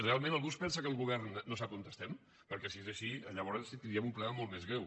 realment algú es pensa que el govern no sap on estem perquè si es així llavors tindríem un problema molt més greu